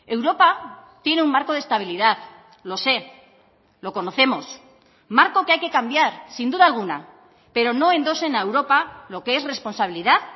europa tiene un marco de estabilidad lo sé lo conocemos marco que hay que cambiar sin duda alguna pero no endosen a europa lo que es responsabilidad